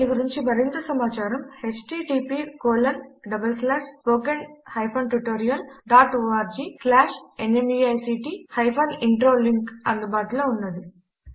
దీని గురించి మరింత సమాచారము httpspoken tutorialorgNMEICT Intro లింక్ అందుబాటులో ఉన్నది